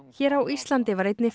hér á Íslandi var einnig